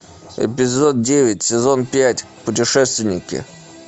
эпизод девять сезон пять путешественники